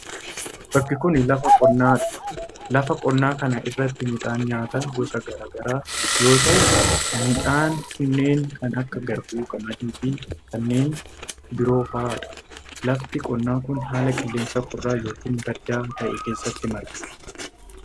Bakki kun lafa qonnaa dha. Lafa qonnaa kana irratti midhaan nyaataa gosa garaa garaa yoo ta'u, midhaan kunneen kan akka:garbuu, qamadii, fi kanneen biroo faa dha. Lafti qonnaa kun haala qilleensaa qorraa yookin baddaa ta'e keessatti marga.